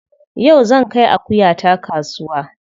Yau zan kai akuyata kasuwa.